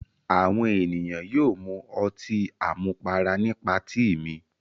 Àwọn ènìyàn yóò mu ọtí àmupara ní patí mi.